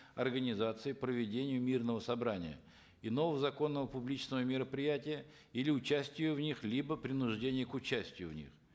организации проведению мирного собрания иного законного публичного мероприятия или участию в них либо принуждение к участию в них